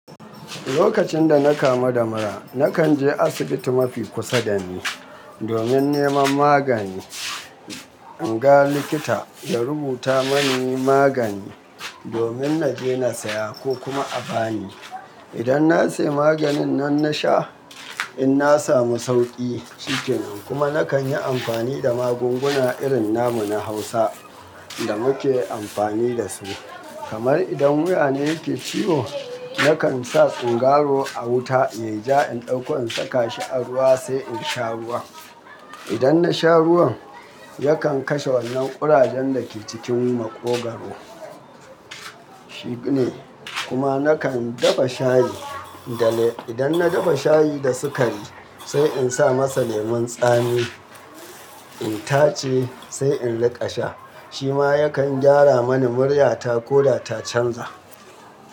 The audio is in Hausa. Lokacin da na kama da mura, na kan je asibiti mafi kusa dani domin neman magani. In ga likita ya rubuta mani magani domin na je na saya ko kuma a bani. Idan na sayi maganin nan na sha in na samu sauƙi cikin, kuma na kan yi amfani da magunguna irin namu na Hausa da muke amfani da su. Kamar idan wuya ne ke ciwo, na kan sa singaro a wuta yayi ja, in ɗauko in saka shi a ruwa sai in sha ruwan. Idan na sha ruwan yakan kashe wannan ƙurajen da ke cikin maƙogwaro. Shi ne. Kuma na kan dafa shayi da le-- idan na dafa shayi da sukari sai in sa masa lemon tsami in tace sai in riƙa sha. Shi ma yakan gyara mani muryata ko da ta canza.